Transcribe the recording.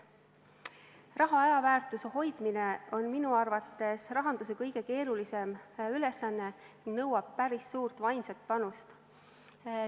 Raha ajaväärtuse hoidmine on minu arvates rahanduse kõige keerulisem ülesanne ning nõuab päris suurt vaimset panust.